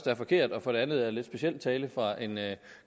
er forkert og for det andet lidt speciel tale fra en